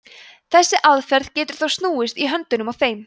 þessi aðferð getur þó snúist í höndunum á þeim